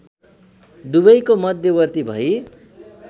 दुबैको मध्यवर्ती भई